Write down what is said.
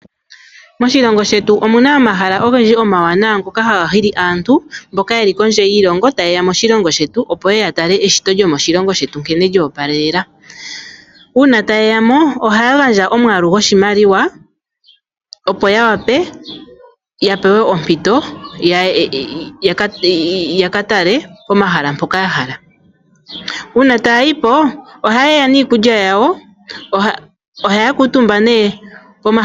Moshilongo shetu omuna omahala ogendji omawaanawa ngoka haga hili aantu mboka yeli kondje yiilongo ta ye ya moshilongo shetu, opo yeye ya tale eshito lyomoshilongo shetu nkene lyo opalelela. Uuna ta ye ya mo ohaya gandja omwaalu goshimaliwa opo ya wape ya pewe ompito yaka tale pomahala mpoka ya hala. Uuna taya yi po oha ye ya niikulya yawo.